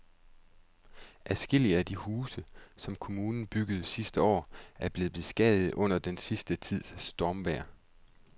Adskillige af de huse, som kommunen byggede sidste år, er blevet beskadiget under den sidste tids stormvejr.